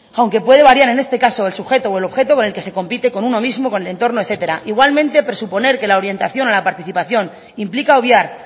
aunque puede variar en este caso el sujeto o el objeto con el que se compite con uno mismo con el entorno etcétera igualmente presuponer que la orientación a la participación implica obviar